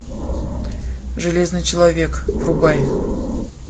железный человек врубай